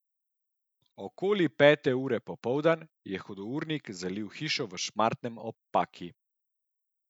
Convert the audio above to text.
Okoli pete ure popoldan je hudournik zalil hišo v Šmartnem ob Paki.